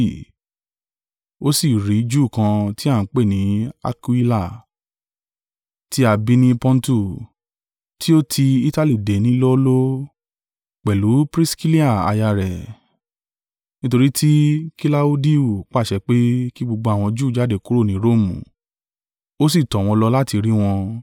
Ó sì rí Júù kan tí a ń pè ní Akuila, tí a bí ni Pọntu, tí ó ti Itali dé ní lọ́ọ́lọ́ọ́, pẹ̀lú Priskilla aya rẹ̀; nítorí tí Kilaudiu pàṣẹ pé, kí gbogbo àwọn Júù jáde kúrò ní Romu. Ó sì tọ̀ wọ́n lọ láti rí wọn.